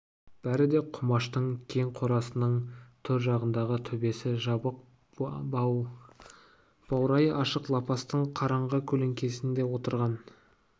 бәрі де құмаштың кең қорасының төр жағындағы төбесі жабық баурайы ашық лапастың қараңғы көлеңкесінде отырған